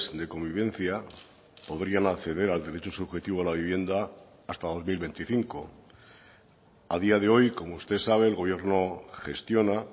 de convivencia podrían acceder al derecho subjetivo a la vivienda hasta dos mil veinticinco a día de hoy como usted sabe el gobierno gestiona